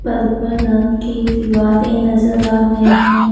Purple रंग की दीवारें नजर आ रही हैं।